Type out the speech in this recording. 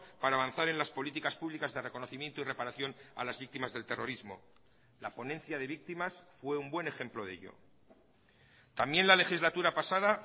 para avanzar en las políticas públicas de reconocimiento y reparación a las víctimas del terrorismo la ponencia de víctimas fue un buen ejemplo de ello también la legislatura pasada